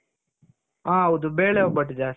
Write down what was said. ಹಾ ಹೌದು ಬೇಳೆ ಒಬ್ಬಟ್ಟು ಜಾಸ್ತಿ.